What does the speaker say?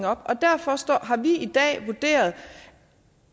op og derfor har vi i dag vurderet